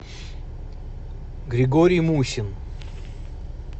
григорий мухин